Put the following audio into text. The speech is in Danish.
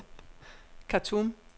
Khartoum